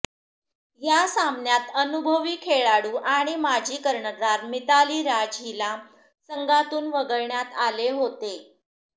या सामन्यात अनुभवी खेळाडू आणि माजी कर्णधार मिताली राज हिला संघातून वगळण्यात आले होते